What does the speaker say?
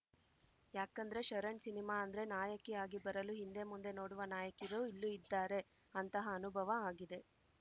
ಯಾಕಂದ್ರೆ ಶರಣ್‌ ಸಿನಿಮಾ ಅಂದ್ರೆ ನಾಯಕಿ ಆಗಿ ಬರಲು ಹಿಂದೆ ಮುಂದೆ ನೋಡುವ ನಾಯಕಿರು ಇಲ್ಲೂ ಇದ್ದಾರೆ ಅಂತಹ ಅನುಭವ ಆಗಿದೆ